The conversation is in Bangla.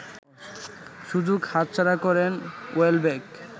সুযোগ হাতছাড়া করেন ওয়েলব্যাক